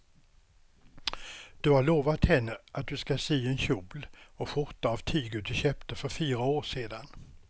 Du har lovat henne att du ska sy en kjol och skjorta av tyget du köpte för fyra år sedan.